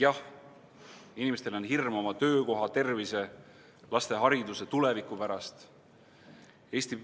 Jah, inimestel on hirm oma töökoha, tervise, laste hariduse, tuleviku pärast.